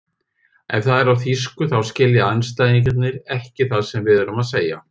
Ef það er á þýsku þá skilja andstæðingarnir ekki það sem við erum að segja.